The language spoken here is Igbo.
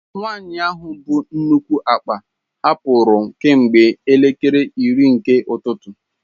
Nwanyị ahụ bu nnukwu akpa hapụrụ kemgbe elekere iri nke ụtụtụ.